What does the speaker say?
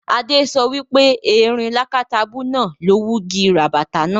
Adé so wipe erin lákátabú náà ló wugi ràbàtà náà